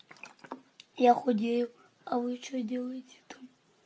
я худею а вы что делаете там